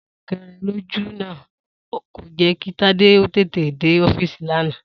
Súnke̩re̩-fàke̩re̩ lójú ò̩nà kò jé̩ kí Tádé ó tètè dé ó̩fíìsì lánàá